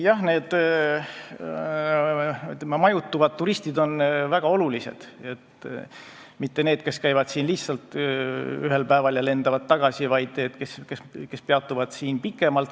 Jah, need, ütleme, majutuvad turistid on väga olulised, olulised ei ole mitte need, kes käivad siin ühel päeval ja lendavad tagasi, vaid olulised on need, kes peatuvad siin pikemalt.